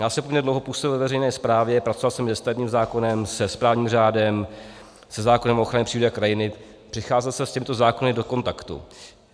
Já jsem poměrně dlouho působil ve veřejné správě, pracoval jsem se stavebním zákonem, se správním řádem, se zákonem o ochraně přírody a krajiny, přicházel jsem s těmito zákony do kontaktu.